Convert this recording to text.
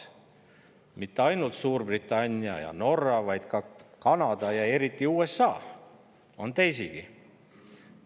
Need riigid ei ole mitte ainult Suurbritannia ja Norra, vaid ka Kanada ja isegi USA, neid on teisigi.